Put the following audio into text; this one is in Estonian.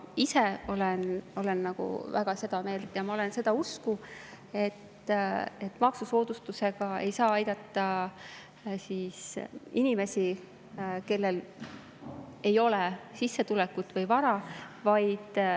Ma ise olen väga seda meelt, ma olen seda usku, et maksusoodustusega ei saa aidata inimesi, kellel ei ole sissetulekut või vara.